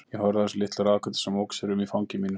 Ég horfði á þessa litla ráðgátu sem ók sér um í fangi mínu.